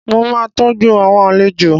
Mo máa tọ́jú àwọn àlejò